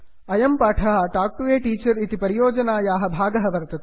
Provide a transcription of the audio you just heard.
अयं पाठः talk to a teacher इति परियोजनायाः भागः वर्तते